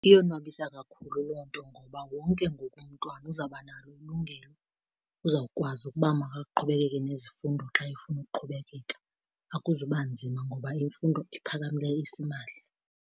Iyonwabisa kakhulu loo nto ngoba wonke ngoku umntwana uzabanalo ilungelo, uzawukwazi ukuba makaqhubekeke nezifundo xa efuna ukuqhubekeka, akuzuba nzima ngoba imfundo ephakamileyo isimahla.